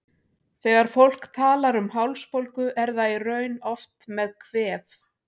Þegar fólk talar um hálsbólgu er það í raun oft með kvef.